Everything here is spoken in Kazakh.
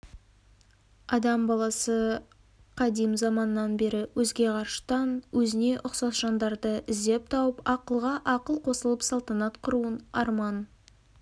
адам баласы қадим заманнан бері өзге ғарыштан өзіне ұқсас жандарды іздеп тауып ақылға ақыл қосылып салтанат құруын арман